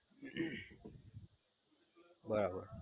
બરાબર